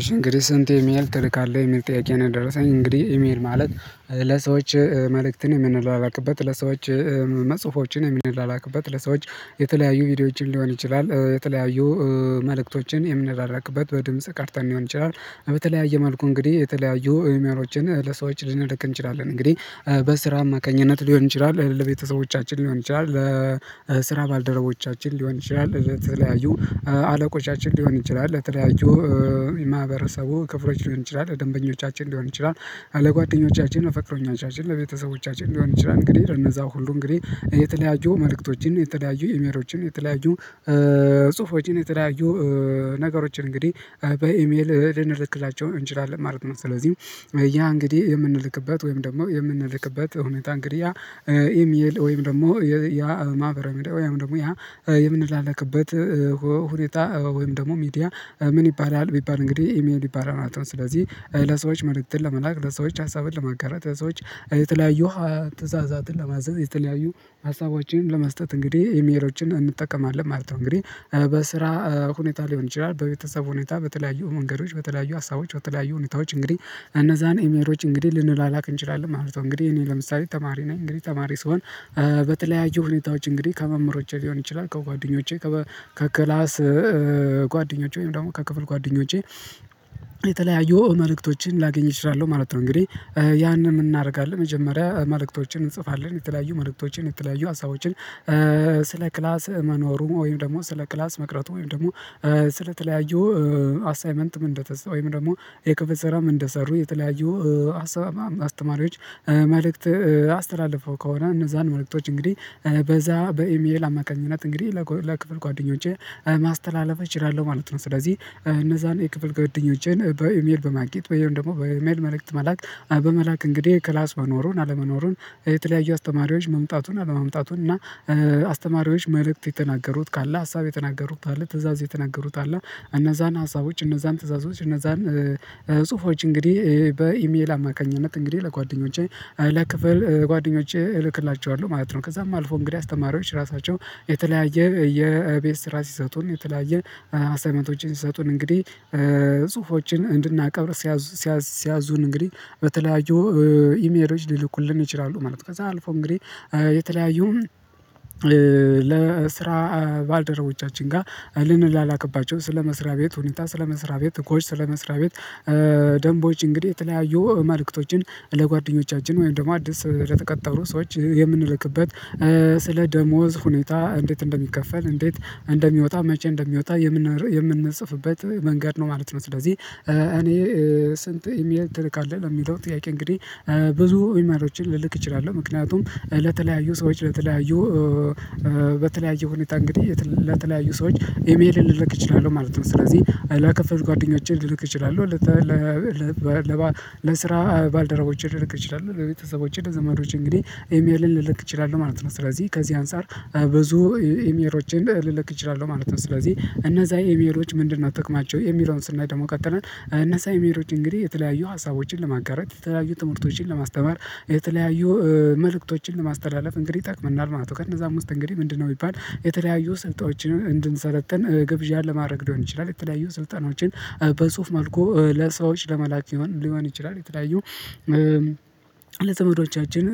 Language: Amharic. እሺ እንግዲህ ስንት ኢሜል ትልካለህ የሚል ጥያቄ ነው? የደረሰኝ እንግዲህ ኢሜል ማለት ለሰዎች መልእክትን የምንላላክበት ለሰዎች ጽሁፎችን የምንላክበት ለሰዎች የተለያዩ ቪዲዮዎችን ሊሆን ይችላል። የተለያዩ መልእክቶችን የምንላላክበት በድምጽ ቀድተን ሊሆን ይችላል። በተለያየ መልኩ እንግዲህ የተለያዩ ኢሜሎችን ለሰዎች ልንልክ እንችላለን። እንግዲህ በስራ አማካኝነት ሊሆን ይችላል ለቤተሰቦቻችን ሊሆን ይችላል ለስራ ባልደረቦቻችን ሊሆን ይችላል ለተለያዩ አለቆቻችን ሊሆን ይችላል ለተለያዩ ማህበረሰቡ ክፍሎች ሊሆን ይችላል ለደንበኞቻችን ሊሆን ይችላል ለጓደኞቻችን ለፍቅረኞቻችን ለቤተሰቦቻችን ሊሆን ይችላል እንግዲህ ለነዛው ሁሉ እንግዲህ የተለያዩ መልእክቶችን የተለያዩ ኢሜሎችን የተለያዩ ጽሁፎችን የተለያዩ ነገሮችን እንግዲህ በኢሜል ልንልክላቸው እንችላለን ማለት ነው። ስለዚህ ያ እንግዲህ የምንልክበት ወይም ደግሞ የምንልክበት ሁኔታ እንግዲህ ያ ኢሚኤል ወይም ደግሞ ያ ማህበራዊ ሚዲያ ወይም ደግሞ ያ የምንላላክበት ሁኔታ ወይም ደግሞ ሚዲያ ምን ይባላል ቢባል እንግዲህ ኢሜል ይባላል። ስለዚህ ለሰዎች መልእክትን ለመላክ ለሰዎች ሀሳብን ለማጋራት ለሰዎች የተለያዩ ትእዛዛትን ለማዘዝ የተለያዩ ሀሳቦችን ለመስጠት እንግዲህ ኢሜሎችን እንጠቀማለን ማለት ነው። እንግዲህ በስራ ሁኔታ ሊሆን ይችላል በቤተሰብ ሁኔታ በተለያዩ መንገዶች በተለያዩ ሀሳቦች በተለያዩ ሁኔታዎች እንግዲህ እነዛን ኢሜሎች እንግዲህ ልንላላክ እንችላለን ማለት ነው። እንግዲህ እኔ ለምሳሌ ተማሪ ነኝ እንግዲህ ተማሪ ስሆን በተለያዩ ሁኔታዎች እንግዲህ ከመምህሮቼ ሊሆን ይችላል ከጓደኞቼ ከክላስ ጓደኞቼ ወይም ደግሞ ከክፍል ጓደኞቼ የተለያዩ መልእክቶችን ላገኝ እችላለሁ ማለት ነው። እንግዲህ ያንን ምን እናደርጋለን? መጀመሪያ መልእክቶችን እንጽፋለን የተለያዩ መልእክቶችን የተለያዩ ሀሳቦችን ስለ ክላስ መኖሩ ወይም ደግሞ ስለ ክላስ መቅረቱ ወይም ደግሞ ስለተለያዩ አሳይመንት ምን እንደተሰጠ ወይም ደግሞ የክፍል ስራ ምን እንደሰሩ የተለያዩ አስተማሪዎች መልእክት አስተላልፈው ከሆነ እነዛን መልእክቶች እንግዲህ በዛ በኢሜል አማካኝነት እንግዲህ ለክፍል ጓደኞቼ ማስተላለፍ እችላለሁ ማለት ነው። ስለዚህ እነዛን የክፍል ጓደኞቼን በኢሜል በማግኘት ወይም ደግሞ በኢሜል መልእክት መላክ በመላክ እንግዲህ ክላስ መኖሩን አለመኖሩን የተለያዩ አስተማሪዎች መምጣቱን አለመምጣቱን እና አስተማሪዎች መልእክት የተናገሩት ካለ ሀሳብ የተናገሩት አለ ትእዛዝ የተናገሩት አለ እነዛን ሀሳቦች እነዛን ትዕዛዞች እነዛን ጽሁፎች እንግዲህ በኢሜል አማካኝነት እንግዲህ ለጓደኞቼ ለክፍል ጓደኞቼ እልክላቸዋለሁ ማለት ነው። ከዛም አልፎ እንግዲህ አስተማሪዎች ራሳቸው የተለያየ የቤት ስራ ሲሰጡን የተለያየ አሳይመንቶችን ሲሰጡን እንግዲህ ጽሁፎችን እንድናቀብር ሲያዙ ሲያዙ ሲያዙን እንግዲህ በተለያዩ ኢሜሎች ሊልኩልን ይችላሉ ማለት ነው። ከዛ አልፎ እንግዲህ የተለያዩ ለስራ ባልደረቦቻችን ጋር ልንላላክባቸው ስለመስሪያ ቤት ሁኔታ ስለመስሪያ ቤት ህጎች ስለመስሪያ ቤት ደንቦች እንግዲህ የተለያዩ መልእክቶችን ለጓደኞቻችን ወይም ደግሞ አዲስ ለተቀጣሩ ሰዎች የምንልክበት ስለ ደሞዝ ሁኔታ እንዴት እንደሚከፈል እንዴት እንደሚወጣ መቼ እንደሚወጣ የምንጽፍበት መንገድ ነው ማለት ነው። ስለዚህ እኔ ስንት ኢሜል ትልካለህ? የሚለው ጥያቄ እንግዲህ ብዙ ኢሜሎችን ልልክ እችላለሁ ምክንያቱም ለተለያዩ ሰዎች ለተለያዩ በተለያዩ ሁኔታ እንግዲህ ለተለያዩ ሰዎች ኢሜልን ልልክ እችላለሁ ማለት ነው። ስለዚህ ለክፍል ጓደኞቼ ልልክ እችላለሁ። ለስራ ባልደረቦቼ ልልክ እችላልው ለቤተሰቦቼ ለዘመዶቼ እንግዲህ ኢሜልን ልልክ እችላለሁ ማለት ነው። ስለዚህ ከዚህ አንፃር ብዙ ኢሜሎችን ልልክ እችላለሁ ማለት ነው። ስለዚህ እነዛ ኢሜሎች ምንድነው ጥቅማቸው? የሚለውን ስናይ ደግሞ ቀጥለናል እነዛ ኢሜሎች እንግዲህ የተለያዩ ሀሳቦችን ለማጋራት የተለያዩ ትምህርቶችን ለማስተማር የተለያዩ መልእክቶችን ለማስተላለፍ እንግዲህ ይጠቅመናል ማለት ነው። ከነዛም ውስጥ እንግዲህ ምንድነው ቢባል? የተለያዩ ስልጠናዎችን እንድንሰለጥን ግብዣ ለማድረግ ሊሆን ይችላል። የተለያዩ ስልጠናዎችን በጽሁፍ መልኩ ለሰዎች ለመላክ ሊሆን ይችላል። የተለያዩ ለዘመዶቻችን